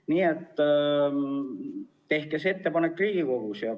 Nii et tehke see ettepanek Riigikogule.